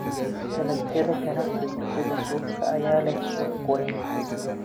Dalagyada ganacsiga sida suufka ayaa leh suuq weyn.